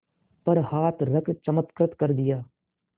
पर हाथ रख चमत्कृत कर दिया